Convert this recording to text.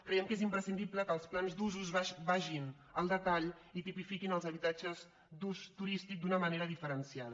creiem que és imprescindible que els plans d’usos vagin al detall i tipifiquin els habitatges d’ús turístic d’una manera di·ferenciada